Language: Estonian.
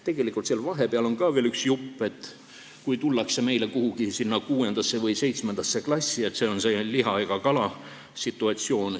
Tegelikult on seal vahepeal veel üks jupp, kui tullakse 6. või 7. klassi, see on see ei-liha-ega-kala-situatsioon.